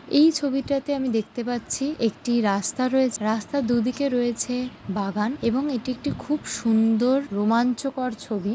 এই ছবিটাতে আমি দেখতে পাচ্ছি একটি রাস্তা রয়েছে রাস্তা দুদিকে রয়েছে বাগান এবং এটি একটি খুব সুন্দর রোমাঞ্চকর ছবি।